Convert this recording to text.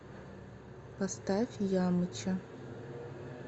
поставь ямыча